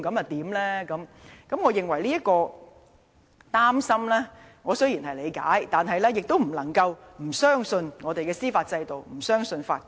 雖然我理解議員的憂慮，但我認為也不能夠因而不相信我們的司法制度、不相信法官。